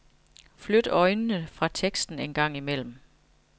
Flyt øjnene fra teksten en gang imellem.